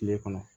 Tile kɔnɔ